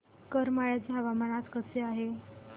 करमाळ्याचे हवामान आज कसे आहे